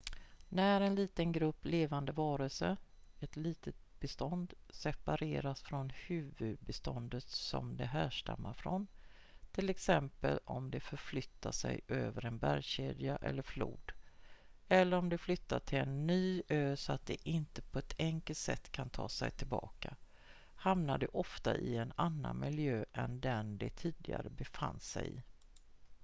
när en liten grupp levande varelser ett litet bestånd separeras från huvudbeståndet som de härstammar från till exempel om de förflyttar sig över en bergskedja eller flod eller om de flyttar till en ny ö så att de inte på ett enkelt sätt kan ta sig tillbaka hamnar de ofta i en annan miljö än den de tidigare befann sig i